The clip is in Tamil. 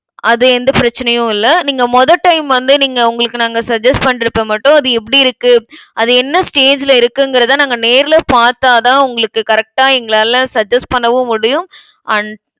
அது எந்த பிரச்சனையும் இல்லை. நீங்க முதல் time வந்து நீங்க உங்களுக்கு நாங்க suggest பண்றப்ப மட்டும் அது எப்படி இருக்கு அது என்ன stage ல இருக்குங்கிறதை நாங்க நேர்ல பார்த்தாதான் உங்களுக்கு correct ஆ எங்களால suggest பண்ணவும் முடியும் and